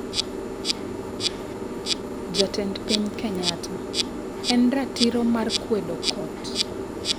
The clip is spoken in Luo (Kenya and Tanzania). Jatend piny Kenyatta: En ratiro mara mar kwedo kot